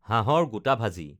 হাঁহৰ গোটা ভাজি